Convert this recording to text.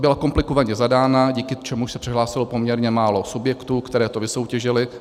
Byla komplikovaně zadána, díky čemuž se přihlásilo poměrně málo subjektů, které to vysoutěžily.